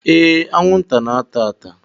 Ee, anwụnta na-ata ata